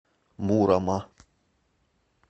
мурома